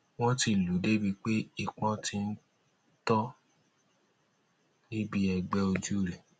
wọn ti lù ú débíi pé ìpọn ti ń tọ níbi ẹgbẹ ojú rẹ